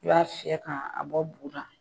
I b'a fiyɛn ka a bɔ bu la